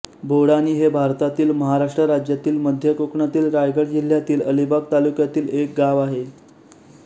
बोडानी हे भारतातील महाराष्ट्र राज्यातील मध्य कोकणातील रायगड जिल्ह्यातील अलिबाग तालुक्यातील एक गाव आहे